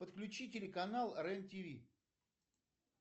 подключи телеканал рен тв